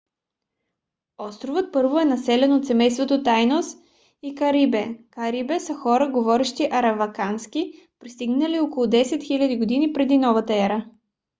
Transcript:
островът първо е населен от семейства тайнос и карибе. карибе са хора говорещи аравакански пристигнали около 10 000 г. пр.н.е